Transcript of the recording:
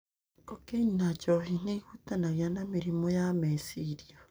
kokaini na njohi nĩ ũhutanagio na mĩrimũ ya meciria.